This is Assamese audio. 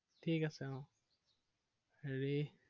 ঠিক আছে আহ হেৰি